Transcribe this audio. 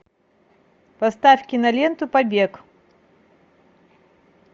поставь киноленту побег